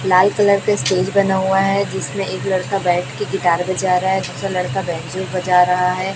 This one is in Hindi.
लाल कलर का स्टेज बना हुआ है जिसमें एक लड़का बैठके गिटार बजा रहा है दूसरा लड़का बैंजो बाजा रहा है।